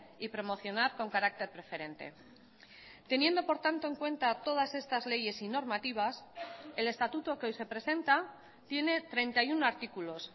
y promocionar con carácter preferente teniendo por tanto en cuenta todas estas leyes y normativas el estatuto que hoy se presenta tiene treinta y uno artículos